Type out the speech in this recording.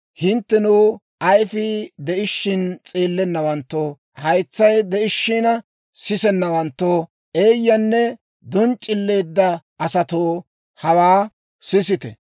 ‹Hinttenoo, ayifii de'ishiina s'eellennawanttoo, haytsay de'ishiina sisennawanttoo, eeyyanne donc'c'illowantta asatoo, hawaa sisite!